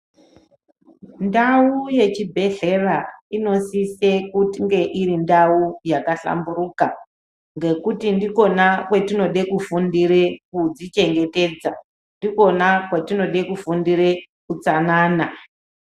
Ndau yechibhedhlera inosisa kunge iri ndau yakahlamburuka ngekuti ndikona kwatinoda kufundira kuzvichengetedza ndikona kwatinoda kufundira hutsanana.